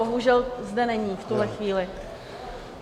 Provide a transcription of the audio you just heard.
Bohužel zde není v tuhle chvíli.